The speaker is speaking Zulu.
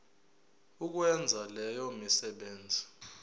ukwenza leyo misebenzi